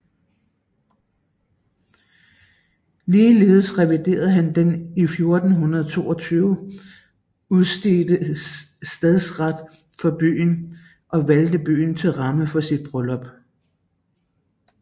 Ligeledes reviderede han den i 1422 udstedte stadsret for byen og valgte byen til ramme for sit bryllup